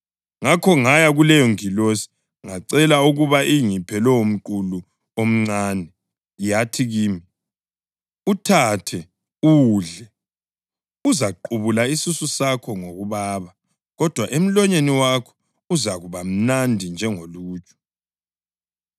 Ngakho ngaya kuleyongilosi ngacela ukuba ingiphe lowomqulu omncane. Yathi kimi, “Uthathe uwudle. Uzaqubula isisu sakho ngokubaba, kodwa emlonyeni wakho uzakuba mnandi njengoluju.” + 10.9 UHezekhiyeli 3.3